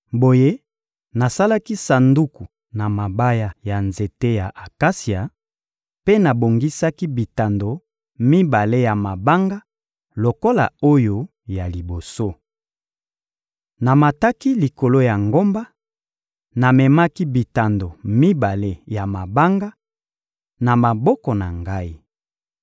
Boye nasalaki sanduku na mabaya ya nzete ya akasia mpe nabongisaki bitando mibale ya mabanga lokola oyo ya liboso. Namataki likolo ya ngomba, namemaki bitando mibale ya mabanga, na maboko na ngai.